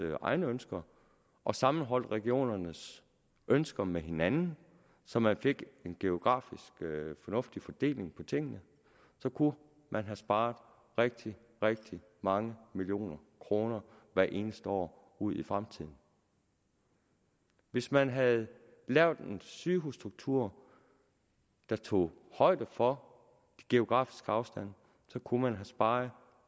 egne ønsker og sammenholdt regionernes ønsker med hinanden så man fik en geografisk fornuftig fordeling af tingene så kunne man have sparet rigtig rigtig mange millioner kroner hvert eneste år ud i fremtiden hvis man havde lavet en sygehusstruktur der tog højde for geografisk afstand så kunne man have sparet